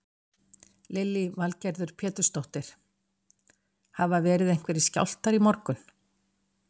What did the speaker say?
Lillý Valgerður Pétursdóttir: Hafa verið einhverjir skjálftar í morgun?